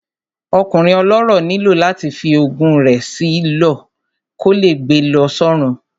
Ọkùnrin ọlọ́rọ̀ nílò láti fi ogún rẹ̀ sí lọ, kò lè gbe lọ sọ́run